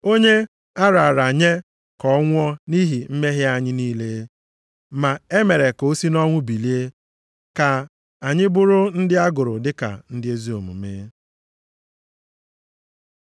Onye a rara nye ka ọ nwụọ nʼihi mmehie anyị niile, ma e mere ka o si nʼọnwụ bilie ka anyị bụrụ ndị a gụrụ dịka ndị ezi omume.